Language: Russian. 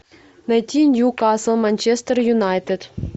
найти ньюкасл манчестер юнайтед